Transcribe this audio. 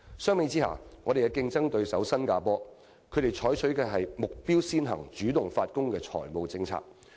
相比之下，我們的競爭對手新加坡所採取的是"目標先行、主動發功"的財稅政策。